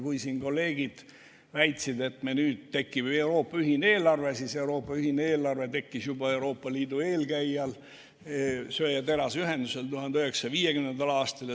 Kui siin kolleegid väitsid, et meil tekib nüüd Euroopa ühine eelarve, siis Euroopa ühine eelarve tekkis juba Euroopa Liidu eelkäijal Euroopa Söe‑ ja Teraseühendusel 1950. aastal.